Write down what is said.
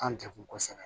An jakosa